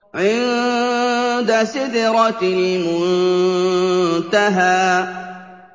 عِندَ سِدْرَةِ الْمُنتَهَىٰ